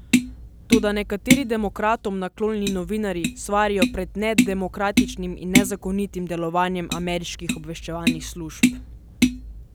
Toda nekateri demokratom naklonjeni novinarji svarijo pred nedemokratičnim in nezakonitim delovanjem ameriških obveščevalnih služb.